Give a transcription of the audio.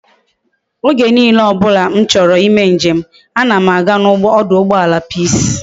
Oge niile obula m choro i me njem a na m aga na oduugboala peace